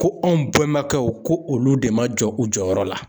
Ko anw bɛnbakɛw ko olu de ma jɔ u jɔyɔrɔ la.